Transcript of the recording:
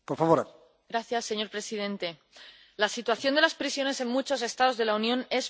Señor presidente, la situación de las prisiones en muchos Estados de la Unión es preocupante.